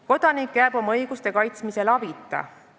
Kodanik jääb oma õiguste kaitsmisel abita.